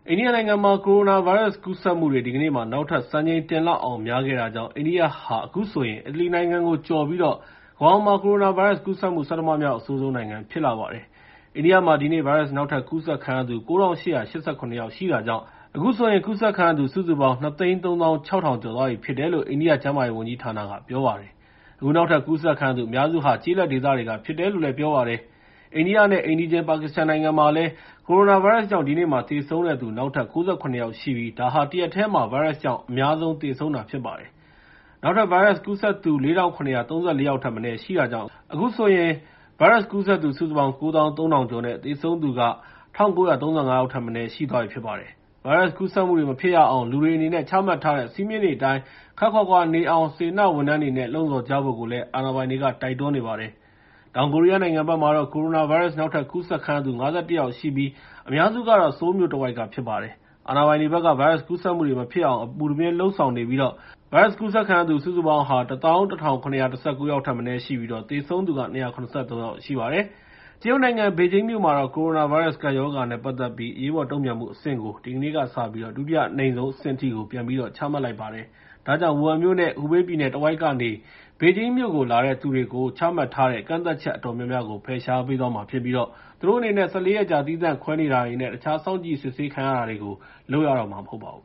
အိန္ဒိယနိုင်ငံမှာ ကိုရိုနာဗိုင်းရပ်စ်ကူးစက်မှု ဒီကနေ့မှာ နောက်ထပ် စံချိန်တင်လောက်အောင် များခဲ့တာကြောင့် အိန္ဒိယဟာ အခုဆိုရင် အီတလီနိုင်ငံကိုကျော်ပြီး ကမ္ဘာပေါ်မှာ ကိုရိုနာဗိုင်းရပ်စ်ကူးစက်မှု ဆဋ္ဌမမြောက် အဆိုးဆုံးနိုင်ငံ ဖြစ်လာပါတယ်။ အိန္ဒိယမှာ ဒီနေ့ ဗိုင်းရပ်စ် နောက်ထပ်ကူးစက်ခံရသူ ၉,၈၈၇ ယောက်ရှိတာကြောင့် အခုဆိုရင် ကူးစက်ခံရသူ စုစုပေါင်း ၂၃၆,၆၅၇ ယောက်ထက်မနည်း ရှိသွားပြီဖြစ်တယ်လို့ အိန္ဒိယ ကျန်းမာရေးဝန်ကြီးဌာနက ပြောပါတယ်။ အခု နောက်ထပ်ကူးစက်ခံရသူ အများစုဟာ ကျေးလက်ဒေသတွေက ဖြစ်တယ်လို့ ပြောပါတယ်။ အိန္ဒိယနဲ့ အိမ်နီးချင်း ပါကစ္စတန်နိုင်ငံမှာလည်း ကိုရိုနာဗိုင်းရပ်စ်ကြောင့် ဒီနေ့မှာ သေဆုံးတဲ့သူ နောက်ထပ် ၉၇ ယောက်ရှိပြီး ဒါဟာ တရက်တည်းမှာ ဗိုင်းရပ်စ်ကြောင့် အများဆုံးသေဆုံးတာ ဖြစ်ပါတယ်။ နောက်ထပ် ဗိုင်းရပ်စ်ကူးစက်သူ ၄,၇၃၄ ယောက်ထက်မနည်း ရှိတာကြောင့် အခုဆိုရင် စုစုပေါင်း ၉၃,၀၀၀ ကျော်နဲ့ သေဆုံးသူ စုစုပေါင်းက ၁,၉၃၅ ယောက်ထက်မနည်း ရှိသွားပြီဖြစ်ပါတယ်။ ဗိုင်းရပ်စ်ကူးစက်မှုတွေ မဖြစ်ရအောင် လူတွေအနေနဲ့ ချမှတ်ထားတဲ့ စည်းမျဉ်းတွေအတိုင်း ခပ်ခွာခွာနေအောင် စေတနာ့ဝန်ထမ်းတွေအနေနဲ့ လှုံ့ဆော်ကြဖို့ အာဏာပိုင်တွေက တိုက်တွန်းနေပါတယ်။ တောင်ကိုရီးယားနိုင်ငံမှာတော့ ကိုရိုနာဗိုင်းရပ်စ် နောက်ထပ်ကူးစက်ခံရသူ ၅၁ ယောက်ရှိပြီး အများစုက ဆိုးလ်မြို့တဝိုက်က ဖြစ်ပါတယ်။ အာဏာပိုင်တွေဘက်က ဗိုင်းရပ်စ်ကူးစက်မှုတွေ မဖြစ်အောင် အပူတပြင်း လုပ်ဆောင်နေပြီး အခုဆိုရင် တောင်ကိုရီးယားနိုင်ငံမှာ ဗိုင်ရပ်စ်ကူးစက်ခံရသူ စုစုပေါင်း ၁၁,၇၁၉ ယောက်ထက်မနည်း ရှိပြီး သေဆုံးသူ ၂၇၃ ယောက် ရှိပါတယ်။ တရုတ်နိုင်ငံ ဘေဂျင်းမြို့တော်မှာတော့ ကိုရိုနာဗိုင်းရပ်စ် ကပ်ရောဂါနဲ့ ပတ်သက်ပြီး အရေးပေါ်တုံ့ပြန်မှုအဆင့်ကို ဒီနေ့ကစပြီး ဒုတိယအနိမ့်ဆုံးအဆင့်ထိ ပြန်ပြီး ချမှတ်လိုက်ပါတယ်။ ဒါကြောင့် ဝူဟန်နဲ့ ဟူဘေးပြည်နယ်တဝိုက်ကနေ ဘေဂျင်းမြို့ကို လာတဲ့သူတွေအပေါ် ချမှတ်ထားတဲ့ ကန့်သတ်ချက် အတော်များများကို ဖယ်ရှားပေးသွားမှာဖြစ်ပြီး သူတို့အနေနဲ့ ၁၄ ရက်ကြာ သီးသန့်ခွဲနေတာတွေနဲ့ တခြား စောင့်ကြည့်စစ်ဆေးခံတာတွေကို လုပ်ရတော့မှာ မဟုတ်ပါဘူး